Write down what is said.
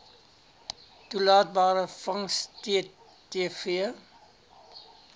toelaatbare vangs ttv